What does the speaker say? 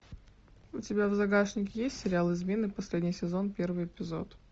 у тебя в загашнике есть сериал измены последний сезон первый эпизод